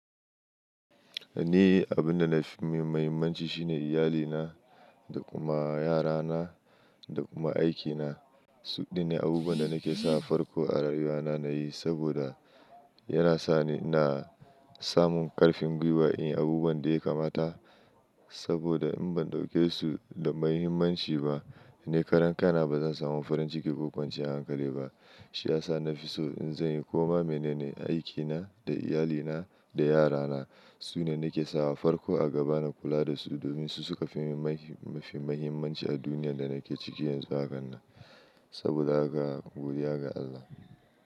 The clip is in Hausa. Ni abin da na fi mahimmanci shine iyalina, da kuma yarana da kuma aikina. Suk ɗinne abubuwan da nake sawa farko a rayuwa na na yi, saboda yana sani ina samun ƙarfin gwiwa in yi abubuwan da ya kamata. Saboda in ban ɗauke su da mahimmanci ba, ni karan kaina ba zan samu farin ciki ko kwanciyar hankali ba. Shi ya sa na fi so in zanyi komai mene ne aikina da iyalina da yarana. Su ne nake sawa farko a gaba na kula da su domin su suka fi, mafi mahimmanci a duniyar da nake ciki yanzu hakannan, saboda haka godiya ga Allah.